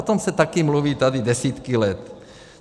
O tom se taky mluví tady desítky let.